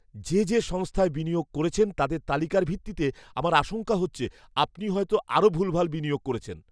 যে যে সংস্থায় বিনিয়োগ করেছেন তাদের তালিকার ভিত্তিতে আমার আশঙ্কা হচ্ছে আপনি হয়তো আরও ভুলভাল বিনিয়োগ করেছেন।